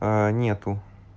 нету